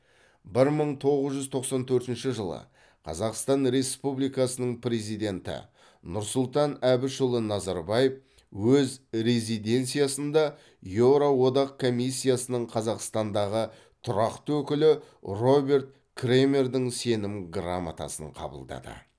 бір мың тоғыз жүз тоқсан төртінші жылы қазақстан республикасының президенті нұрсұлтан әбішұлы назарбаев өз резиденциясында еуроодақ комиссиясының қазақстандағы тұрақты өкілі роберт кремердің сенім грамотасын қабылдады